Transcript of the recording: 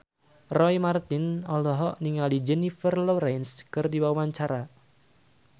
Roy Marten olohok ningali Jennifer Lawrence keur diwawancara